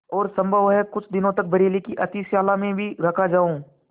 और सम्भव है कुछ दिनों तक बरेली की अतिथिशाला में भी रखा जाऊँ